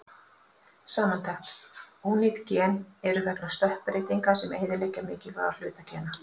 Samantekt: Ónýt gen eru vegna stökkbreytinga sem eyðileggja mikilvæga hluta gena.